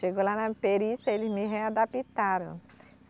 Chegou lá na perícia eles me readaptaram.